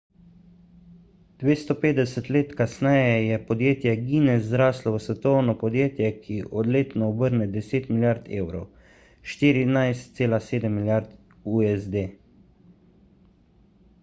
250 let kasneje je podjetje guinness zraslo v svetovno podjetje ki letno obrne 10 milijard evrov 14,7 milijard usd